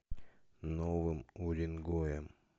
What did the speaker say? новым уренгоем